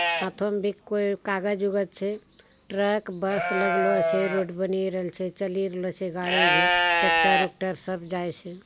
हाथो मे भी कोई कागज-उगज छे | ट्रक बस लगलो छे | रोड बनिए रहल छे चलिए रहलो छे गाड़ी भी ट्रेक्टर उक्टर सब जाए छे ।